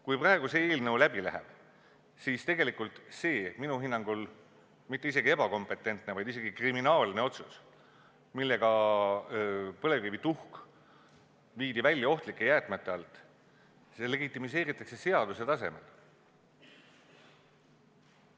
Kui praegu see eelnõu läbi läheb, siis tegelikult see minu hinnangul mitte isegi ebakompetentne, vaid lausa kriminaalne otsus, millega põlevkivituhk viidi välja ohtlike jäätmete alt, legitimiseeritakse seaduse tasemel.